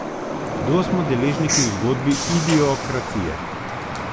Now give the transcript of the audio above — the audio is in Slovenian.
Kdo smo deležniki v zgodbi idiokracije?